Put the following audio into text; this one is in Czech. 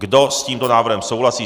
Kdo s tímto návrhem souhlasí?